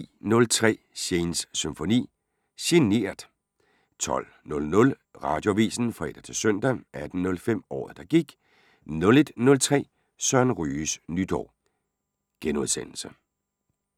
10:03: Shanes Symfoni - GENERT 12:00: Radioavisen (fre-søn) 18:05: Året der gik 01:03: Søren Ryges nytår *